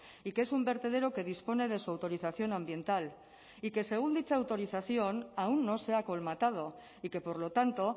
y que es un vertedero que dispone de su autorización ambiental y que según dicha autorización aún no se ha acolmatado y que por lo tanto